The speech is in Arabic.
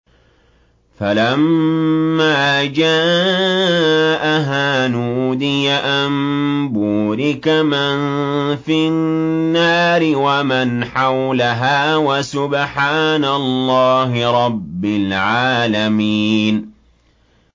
فَلَمَّا جَاءَهَا نُودِيَ أَن بُورِكَ مَن فِي النَّارِ وَمَنْ حَوْلَهَا وَسُبْحَانَ اللَّهِ رَبِّ الْعَالَمِينَ